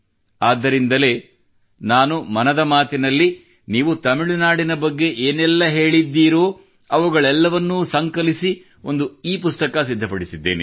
ಆದ್ದರಿಂದಲೇ ನಾನು ಮನದ ಮಾತಿನಲ್ಲಿ ನೀವು ತಮಿಳುನಾಡಿನ ಬಗ್ಗೆ ಏನೇ ಹೇಳಿದರೂ ಅವುಗಳೆಲ್ಲವನ್ನೂ ಸಂಕಲಿಸುವ ಮೂಲಕ ಒಂದು ಇಪುಸ್ತಕ ಸಿದ್ಧಪಡಿಸಿದ್ದೇನೆ